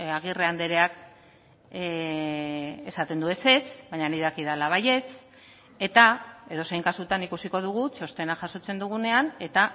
agirre andreak esaten du ezetz baina nik dakidala baietz eta edozein kasutan ikusiko dugu txostena jasotzen dugunean eta